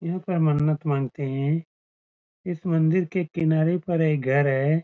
इनका मन्नत मागते है इस मंदिर के किनारे पर एक घर है ।